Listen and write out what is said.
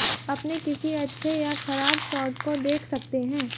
अपने किसी अच्छे या खराब शॉट को देख सकते हैं